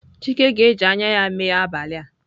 Chike ga-eji anya ya mee abalị a.